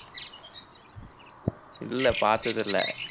இல்லை பார்த்ததில்லை